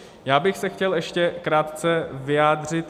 Já bych se chtěl ještě krátce vyjádřit.